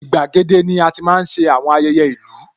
Igbàgede ni ati máa ń ṣe àwọn ayẹyẹ ìlú